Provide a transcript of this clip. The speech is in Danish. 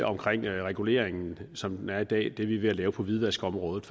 omkring reguleringen som den er i dag det som vi er ved at lave på hvidvaskområdet